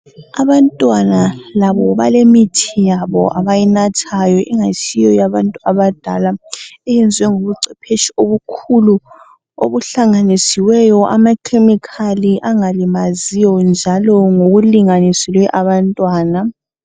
Abantwana labo balemithi yabo abayinathayo angasiyo yabantu abadala. Eyenziwe ngobucephetshi obukhulu okuhlanganisiweyo amakhemikhali angalimaziyo njalo ngokulinganisiweyo abantwana.